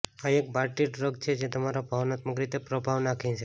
આ એક party drug છે જે તમારા પર ભાવનાત્મક રીતે પ્રભાવ નાંખે છે